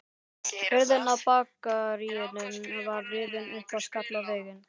Hurðin á bakaríinu var rifin upp og skall í vegginn.